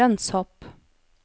lønnshopp